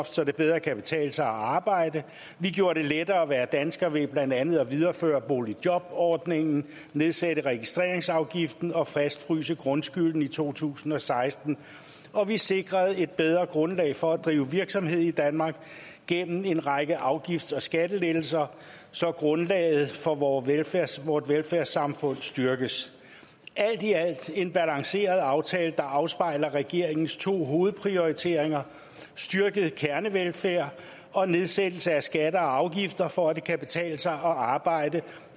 så det bedre kan betale sig at arbejde vi gjorde det lettere at være dansker ved blandt andet at videreføre boligjobordningen nedsætte registreringsafgiften og fastfryse grundskylden i to tusind og seksten og vi sikrede et bedre grundlag for at drive virksomhed i danmark gennem en række afgifts og skattelettelser så grundlaget for vores velfærdssamfund velfærdssamfund styrkes alt i alt en balanceret aftale der afspejler regeringens to hovedprioriteringer styrket kernevelfærd og nedsættelse af skatter og afgifter for at det kan betale sig at arbejde